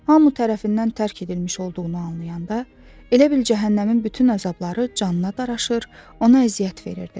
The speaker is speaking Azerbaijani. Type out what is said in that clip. Hamı tərəfindən tərk edilmiş olduğunu anlayanda elə bil cəhənnəmin bütün əzabları canına daraşır, ona əziyyət verirdi.